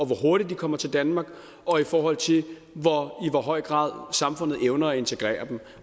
hvor hurtigt de kommer til danmark og i forhold til i hvor høj grad samfundet evner at integrere dem